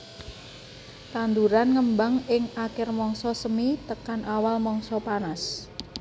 Tanduran ngembang ing akir mangsa semi tekan awal mangsa panas